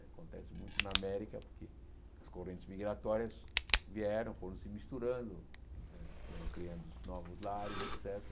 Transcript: Acontece muito na América, porque as correntes migratórias vieram, foram se misturando né, foram criando novos lares, et cétera.